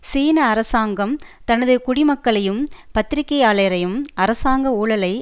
சீன அரசாங்கம் தனது குடிமக்களையும் பத்திரிகையாளரையும் அரசாங்க ஊழலை